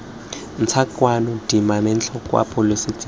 ntšha kana dimametlelelo kwa pholesing